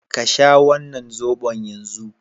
Ka sha wannan zobon yanzu!